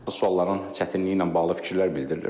sualların çətinliyi ilə bağlı fikirlər bildirilir.